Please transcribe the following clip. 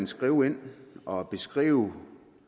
skrive ind og beskrive